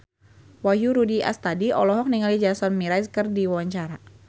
Wahyu Rudi Astadi olohok ningali Jason Mraz keur diwawancara